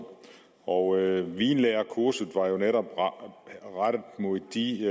og vinlærekurset var jo netop rettet mod de